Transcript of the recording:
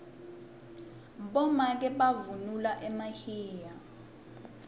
bomake bavunula emahiya